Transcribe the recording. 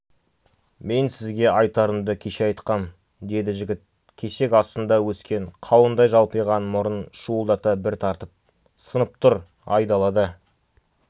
мен сізге айтарымды кеше айтқам деді жігіт кесек астында өскен қауындай жалпиған мұрнын шуылдата бір тартып сынып тұр айдалада